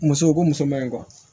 Muso u ko muso mɛn